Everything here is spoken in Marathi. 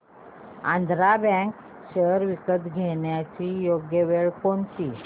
आंध्रा बँक शेअर्स विकण्याची योग्य वेळ कोणती